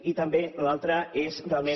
i també l’altra és realment